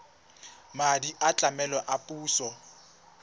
madi a tlamelo a puso